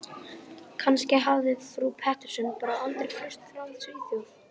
Kannski hafði frú Pettersson bara aldrei flust frá Svíþjóð.